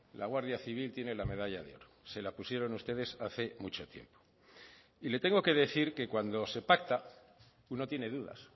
la guardia civil tiene la medalla de oro se la pusieron ustedes hace mucho tiempo y le tengo que decir que cuando se pacta uno tiene dudas